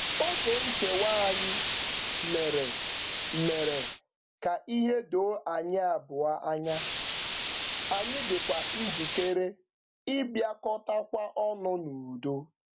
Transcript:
Oge nkewa anyị mere mere ka ihe doo anyị abụọ anya, anyị dịkwa njikere ịbịakọtakwa ọnụ n'udo.